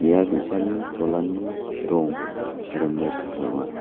ia bi·sani cholani rong rimit ong·a.